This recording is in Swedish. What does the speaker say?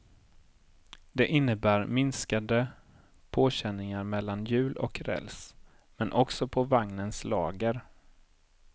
Det innebär minskade påkänningar mellan hjul och räls, men också på vagnens lager.